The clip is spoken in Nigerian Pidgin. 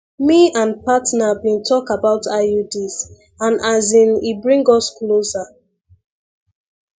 me and partner been talk about iuds and as in e bring us closer